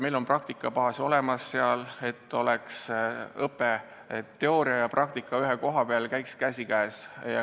Meil on praktikabaas seal olemas ja soovisime, et oleks õpe, teooria ja praktika ühes kohas, käiks käsikäes.